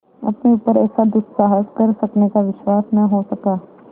अपने ऊपर ऐसा दुस्साहस कर सकने का विश्वास न हो सका